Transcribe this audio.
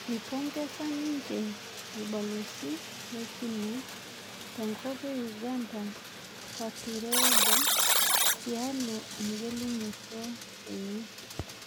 Eipongesa ninje orbalosi le cina tenkop e uganda Katureebe tialo egelunoto enye